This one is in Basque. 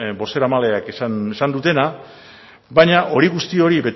bozeramaileek esan dutena baina hori guzti hori